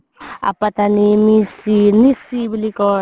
আপাটানি মিচি, মিচি বুলি কই